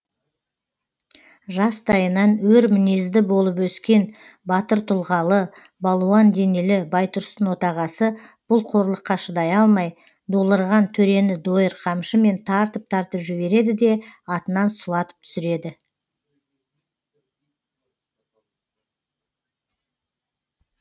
жастайынан өр мінезді болып өскен батыр тұлғалы балуан денелі байтұрсын отағасы бұл қорлыққа шыдай алмай долырған төрені дойыр қамшымен тартып тартып жібереді де атынан сұлатып түсіреді